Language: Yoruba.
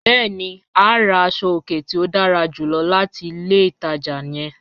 Bẹ̀ẹ̀ni, a rà àṣọ-ọ̀kẹ̀ tí o dára júlọ̀ láti ilẹ̀ ìtaja yẹ̀n.